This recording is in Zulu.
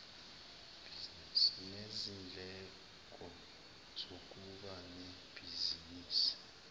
nezindleko zokuba nebhizinisi